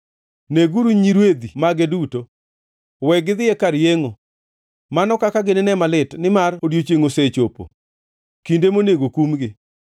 Neguru nyirwedhi mage duto; we gidhi e kar yengʼo! Mano kaka gininee malit! Nimar odiechiengʼ osechopo, kinde monego kumgi.